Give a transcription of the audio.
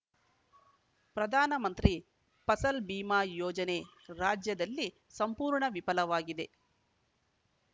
ಪ್ರಧಾನ ಮಂತ್ರಿ ಫಸಲ್‌ ಭೀಮಾ ಯೋಜನೆ ರಾಜ್ಯದಲ್ಲಿ ಸಂಪೂರ್ಣ ವಿಫಲವಾಗಿದೆ